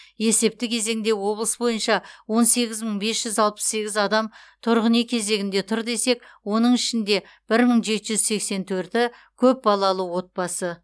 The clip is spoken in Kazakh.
есепті кезеңде облыс бойынша он сегіз мың бес жүз алпыс сегіз адам тұрғын үй кезегінде тұр десек оның ішінде бір мың жеті жүз сексен төрті көпбалалы отбасы